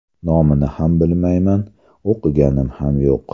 Nomini ham bilmayman, o‘qiganim ham yo‘q.